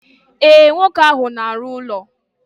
E, nwoke ahụ na arụ ụlọ.